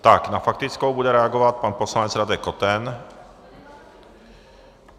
Tak na faktickou bude reagovat pan poslanec Radek Koten.